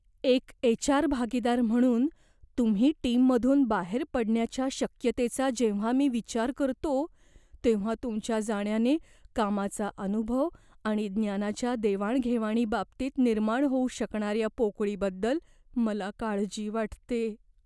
एक H. R. भागीदार म्हणून, तुम्ही टीममधून बाहेर पडण्याच्या शक्यतेचा जेव्हा मी विचार करतो, तेव्हा तुमच्या जाण्याने कामाचा अनुभव आणि ज्ञानाच्या देवाणघेवाणी बाबतीत निर्माण होऊ शकणाऱ्या पोकळीबद्दल मला काळजी वाटते.